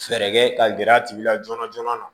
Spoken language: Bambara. Fɛɛrɛ kɛ ka gɛrɛ a tigi la joona joona